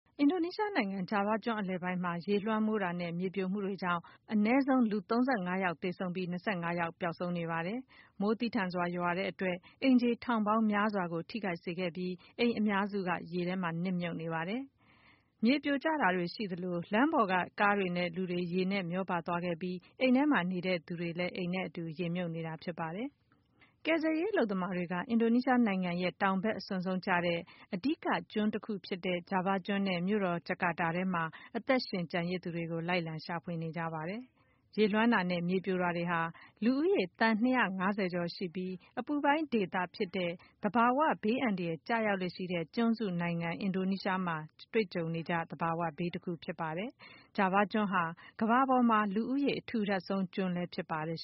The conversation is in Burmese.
အင်ဒိုနီးရှားနိုင်ငံ၊ ဂျာဗားကျွန်းအလယ်ပိုင်းမှာ ရေလွှမ်းမိုးတာနဲ့ မြေပြိုမှုတွေကြောင့် အနည်းဆုံး လူ ၃၅ ယောက်သေဆုံးပြီး ၂၅ ယောက် ပျောက်ဆုံးနေပါတယ်။ မိုးသည်းထန်စွာရွာသွန်းမှုကြောင့် အိမ်ခြေ ထောင်ပေါင်းများစွာကို ထိခိုက်စေခဲ့ပြီး အများစုဟာ ရေနစ်မြုပ်နေပါတယ်။ မိုးသည်းထန်စွာရွာတာကြောင့် မြေပြိုကျတာတွေရှိခဲ့သလို လမ်းပေါ်မှာက ကားတွေနဲ့လူတွေလည်း ရေနဲ့မျောပါခဲ့ပြီး အိမ်ထဲမှာ နေသူတွေလည်း ရေမြုပ်ကုန်ပါတယ်။ ကယ်ဆယ်ရေးအလုပ်သမားတွေဟာ အင်ဒိုနီးရှားနိုင်ငံရဲ့ တောင်ဘက်အစွန်ဆုံးကျတဲ့ အဓိက ကျွန်းတခုဖြစ်တဲ့ ဂျာဗားကျွန်းနဲ့ မြို့တော် ဂျကာတာထဲမှာ အသက်ရှင်ကျန်ရစ်သူတွေကို လိုက်လံရှာဖွေနေကြပါတယ်။ ရေလွှမ်းတာနဲ့ မြေပြိုတာတွေဟာ လူဦးရေ သန်း ၂၅၀ ကျော်ရှိပြီး အပူပိုင်းဒေသဖြစ်တဲ့ သဘာဝဘေးကျရောက်လေ့ရှိတဲ့ ကျွန်းစုနိုင်ငံဖြစ်တဲ့ အင်ဒိုနီးရှားနိုင်ငံမှာ တွေ့ကြုံနေကျ သဘာဝဘေးတခုဖြစ်ပါတယ်။ ဂျာဗားကျွန်းဟာ ကမ္ဘာပေါ်က လူဦးရေ အထူထပ်ဆုံး ကျွန်းလည်းဖြစ်ပါတယ်